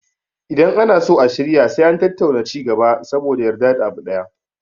Idan ana so a shirya sai an tattauna ci gaba saboda a yarda da abu ɗaya